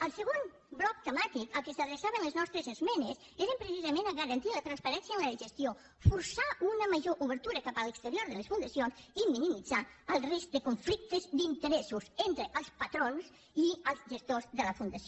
el segon bloc temàtic a què s’adreçaven les nostres es·menes era precisament a garantir la transparència en la gestió forçar una major obertura cap a l’exterior de les fundacions i minimitzar el risc de conflictes d’in·teressos entre els patrons i els gestors de la fundació